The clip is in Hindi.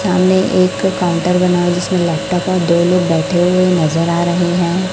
सामने एक काउंटर बना है जिसमें लैपटॉप और दो लोग बैठे हुए नजर आ रहे है।